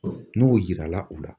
N'o yirala u la